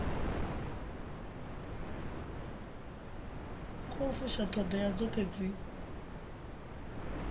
khou fusha ṱhoḓea dzoṱhe dzi